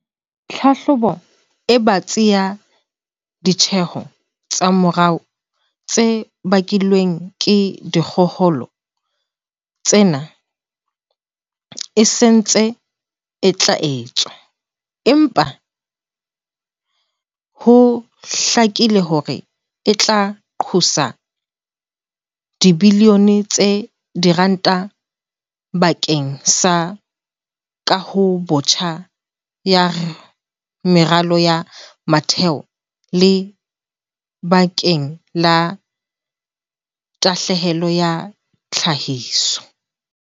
"Tlhahlobo e batsi ya ditjeho tsa moruo tse bakilweng ke dikgohola tsena e sa ntse e tla etswa, empa ho hlakile hore e tla qosa dibilione tsa diranta ba keng sa kahobotjha ya meralo ya motheo le bakeng la tahlehelo ya tlhahiso."